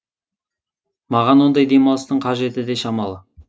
маған ондай демалыстың қажеті де шамалы